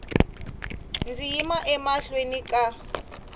ndzi yima emahlweni ka n